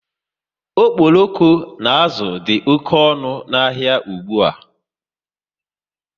Okporoko na azụ dị oké ọnụ n'ahia ụgbụa